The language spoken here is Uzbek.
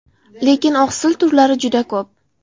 Lekin oqsil turlari juda ko‘p.